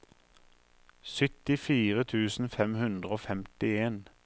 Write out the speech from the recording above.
syttifire tusen fem hundre og femtien